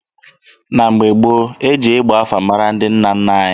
Na mgbe gboo, e ji ịgba afa mara ndị nna nna anyị ha.